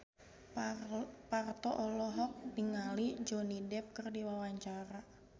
Parto olohok ningali Johnny Depp keur diwawancara